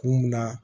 Kun min na